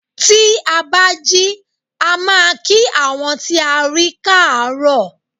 Tí a bá jí a máa kí àwọn tí a rí káàróò.